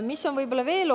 Mis on veel oluline?